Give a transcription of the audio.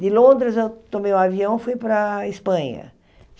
De Londres, eu tomei um avião fui para a Espanha.